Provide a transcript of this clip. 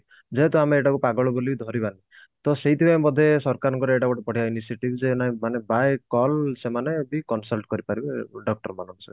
ଯେହେତୁ ଆମେ ଏଇଟା କୁ ପାଗଳ ବୋଲି ଧରିବା ତ ସେଇଠି ପାଇଁ ବୋଧେ ସରକାରଙ୍କର ଏଇଟା ଗୋଟେ ବଢିଆ ଯେ ଆମେ ମାନେ by call ସେମାନେ ବି consult କରି ପାରିବେ doctor ମାନଙ୍କ ସହିତ